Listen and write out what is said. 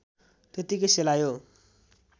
त्यत्तिकै सेलायो